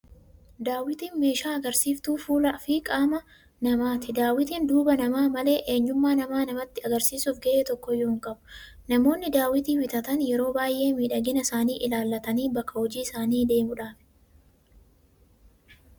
Daawwitiin meeshaa agarsiistuu fuulaa fi qaama namaati. Daawwitiin duuba namaa malee, eenyummaa namaa namatti agarsiisuuf gahee tokkoyyuu hin qabu! Namoonni daawwitii bitatan yeroo baay'ee miidhagina isaanii ilaallatanii bakka jojii isaanii deemuufidha.